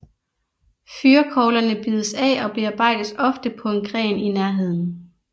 Fyrrekoglerne bides af og bearbejdes ofte på en gren i nærheden